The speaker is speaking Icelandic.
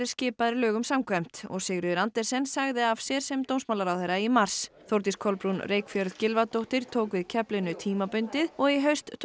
skipaðir lögum samkvæmt og Sigríður Andersen sagði af sér sem dómsmálaráðherra í mars Þórdís Kolbrún Reykfjörð Gylfadóttir tók við keflinu tímabundið og í haust tók